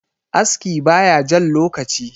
aski ba ya Jan lokaci